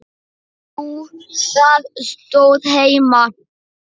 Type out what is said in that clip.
Jú, það stóð heima.